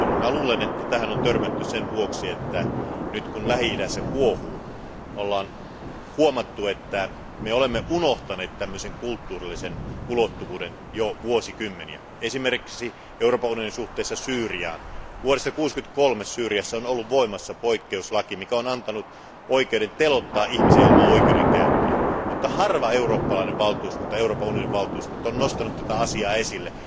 Luulen, että tähän on tultu sen vuoksi, että nyt kun Lähi idässä kuohuu, ollaan huomattu, että me olemme unohtaneet kulttuurillisen ulottuvuuden jo vuosikymmeniä, esimerkiksi Euroopan unionin suhteissa Syyriaan. Vuodesta 1963 Syyriassa on ollut voimassa poikkeuslaki, mikä on antanut oikeuden teloittaa ihmisiä ilman oikeudenkäyntiä, mutta harva eurooppalainen valtuuskunta, Euroopan unionin valtuuskunta, on nostanut tätä asiaa esille.